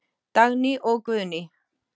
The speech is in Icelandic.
Dagný og Guðný.